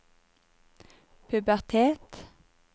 pubertet